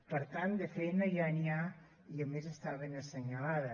per tant de feina ja n’hi ha i a més està ben assenyalada